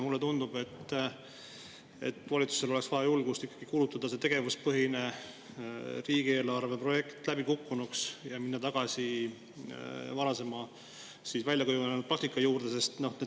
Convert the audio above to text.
Mulle tundub, et valitsusel oleks vaja julgust kuulutada see tegevuspõhise riigieelarve projekt läbikukkunuks ja minna tagasi varasemalt väljakujunenud praktika juurde.